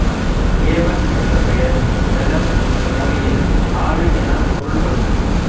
Ewon என்ற பெயர் Welsh மொழியில் ஆறு எனப் பொருள் படும்